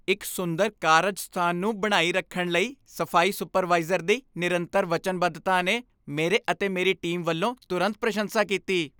ਇੱਕ ਸੁੰਦਰ ਕਾਰਜ ਸਥਾਨ ਨੂੰ ਬਣਾਈ ਰੱਖਣ ਲਈ ਸਫ਼ਾਈ ਸੁਪਰਵਾਈਜ਼ਰ ਦੀ ਨਿਰੰਤਰ ਵਚਨਬੱਧਤਾ ਨੇ ਮੇਰੇ ਅਤੇ ਮੇਰੀ ਟੀਮ ਵੱਲੋਂ ਤੁਰੰਤ ਪ੍ਰਸ਼ੰਸਾ ਕੀਤੀ।